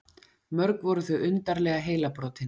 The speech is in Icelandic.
Mörg voru þau undarleg heilabrotin.